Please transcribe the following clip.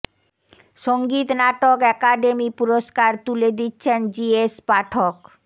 সঙ্গীত নাটক অ্যাকাডেমি পুরস্কার তুলে দিচ্ছেন জি এস পাঠক